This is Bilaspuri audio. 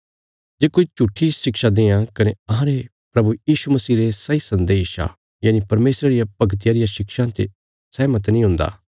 जे कोई झूट्ठी शिक्षा देआं कने अहांरे प्रभु यीशु मसीह रे सही सन्देशा यनि परमेशरा रिया भगतिया रियां शिक्षा ते सहमत नीं हुन्दा